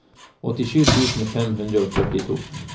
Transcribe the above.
åttisju tusen fem hundre og førtito